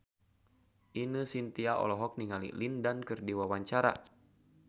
Ine Shintya olohok ningali Lin Dan keur diwawancara